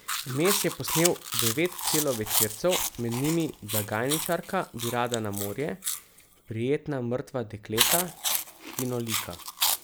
Vmes je posnel devet celovečercev, med njimi Blagajničarka bi rada na morje, Prijetna mrtva dekleta, Kino Lika.